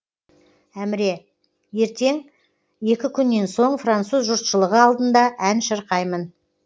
әміре ертең екі күннен соң француз жұртшылығы алдында ән шырқаймын